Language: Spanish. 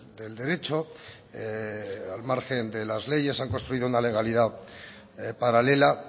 del derecho al margen de las leyes han construido una legalidad paralela